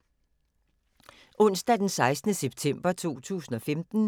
Onsdag d. 16. september 2015